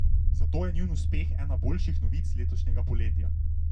Zato je njun uspeh ena boljših novic letošnjega poletja.